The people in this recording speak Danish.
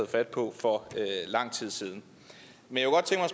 fat på for lang tid siden men